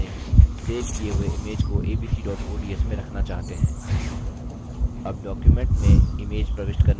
स्थान चुनें जहाँ आप अपने सेव किये हुए image को abc ods में रखना चाहते हैं